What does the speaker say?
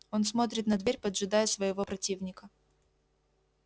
он смотрит на дверь поджидая своего противника